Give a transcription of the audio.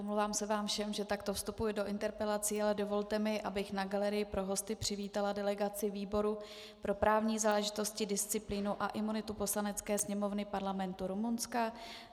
Omlouvám se vám všem, že takto vstupuji do interpelací, ale dovolte mi, abych na galerii pro hosty přivítala delegaci výboru pro právní záležitosti, disciplínu a imunity Poslanecké sněmovny Parlamentu Rumunska.